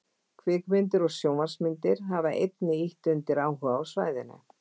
kvikmyndir og sjónvarpsmyndir hafa einnig ýtt undir áhuga á svæðinu